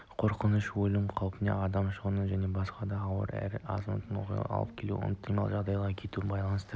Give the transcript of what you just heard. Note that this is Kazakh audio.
қорқыныш өлім қаупіне адам шығынына және басқа да ауыр әрі азапты оқиғаларға алып келуі ықтимал жағдайды күтуге байланысты